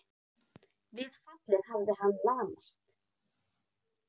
Við fallið hafi hann lamast.